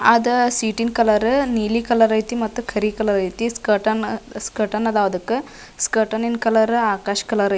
ಅದ ಸೀಟಿಂದು ಕಲರ್ ನೀಲಿ ಕಲರ್ ಐತಿ ಮತ್ತೆ ಕರಿ ಕಲರ್ ಐತಿ ಸ್ಕ್ಯಾರ್ಟನ್ ಸ್ಕ್ಯರ್ಟನ್ ಅದಾವ್ ಅದಕ್ಕ ಸ್ಕ್ಯಾರ್ಟನ್ ಈದ್ ಕಲರ್ ಆಕಾಶ್ ಕಲರ್ ಐತಿ.